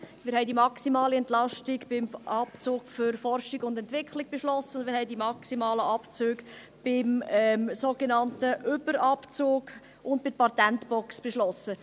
Wir haben die maximale Entlastung beim Abzug für Forschung und Entwicklung beschlossen, und wir haben die maximalen Abzüge beim sogenannten Überabzug und bei der Patentbox beschlossen.